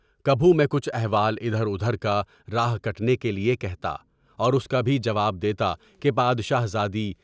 کبھی میں کچھ احوال ادھر ادھر کارہائے کٹنے کے لیے کہتا، اور اُس کا بھی جواب دیتا کہ بادشاہ زادی!